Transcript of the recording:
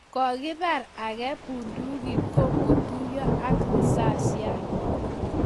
Kokipar ake bundukit kongotuyo ak risasiat